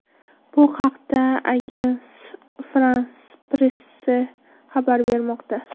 Bu haqda Agense Franse-Presse xabar bermoqda.